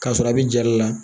K'a sɔrɔ a bɛ jali la